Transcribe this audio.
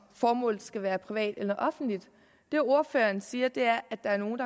formålet skal være privat eller offentligt det ordføreren siger er at der er nogle